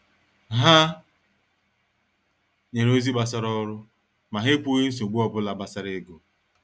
Ha nyere ozi gbasara ọrụ, ma ha ekwughị nsogbu obula gbasara ego.